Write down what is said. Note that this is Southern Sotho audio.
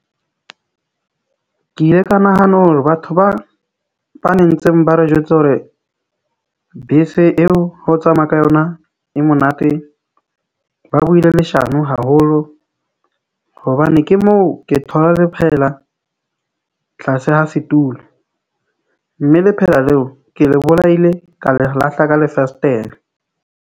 Ke ile ka nahana hore batho ba ba nentseng ba re jwetsa hore bese eo ho tsamaya ka yona e monate. Ba buile leshano haholo hobane ke moo ke thola lephehela tlase ha setulo. Mme lephela leo ke le bolaile ka le lahla ka lefesetere.